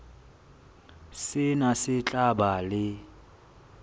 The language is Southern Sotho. sena se tla ba le